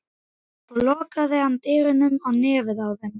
Svo lokaði hann dyrunum á nefið á þeim.